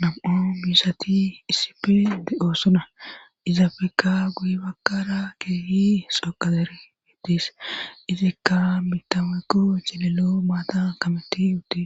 nam7o misati isipe de7oossona izaafeka guy bakara keeyi sooqazere mittis izikka mitameykko celelo maata kameti ute